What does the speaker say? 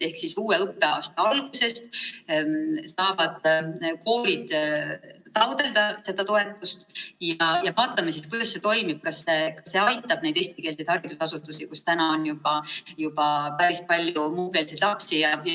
Ehk uue õppeaasta algusest saavad koolid taotleda seda toetust ja vaatame siis, kuidas see toimib, kas see aitab neid eestikeelseid haridusasutusi, kus on päris palju muukeelseid lapsi.